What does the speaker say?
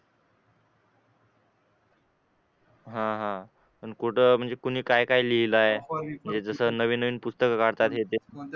हा हा पण कुठं म्हणजे कोणी काय लिहिलं आहे हे जसं नवीन नवीन पुस्तक काढतात हे ते